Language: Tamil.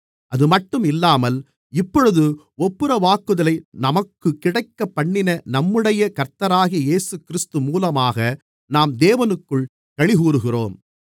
அதுமட்டும் இல்லாமல் இப்பொழுது ஒப்புரவாகுதலை நமக்குக் கிடைக்கப்பண்ணின நம்முடைய கர்த்தராகிய இயேசுகிறிஸ்து மூலமாக நாம் தேவனுக்குள் களிகூறுகிறோம்